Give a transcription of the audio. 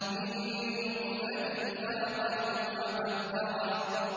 مِن نُّطْفَةٍ خَلَقَهُ فَقَدَّرَهُ